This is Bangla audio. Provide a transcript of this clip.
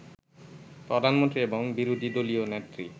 প্রধানমন্ত্রী এবং বিরোধীদলীয় নেত্রী